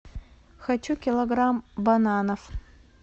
хочу килограмм бананов